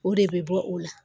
O de bɛ bɔ o la